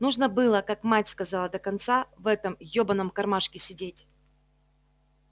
нужно было как мать сказала до конца в этом ёбаном кармашке сидеть